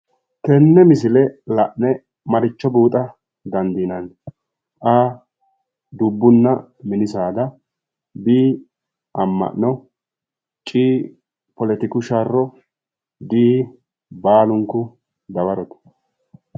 Tenne misile la'ne maricho buuxa dandiinanni A,dubbunna mini saada. B,amma'no. C, poletiku sharro, D baalunku dawarote.